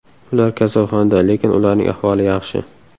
Ular kasalxonada, lekin ularning ahvoli yaxshi.